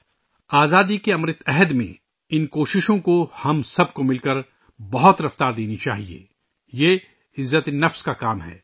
آزادی کے امرت کال میں ، ہم سب کو مل کر اس کوشش کو بہت زیادہ رفتار دینی چاہیئے، یہ عزت نفس کا کام ہے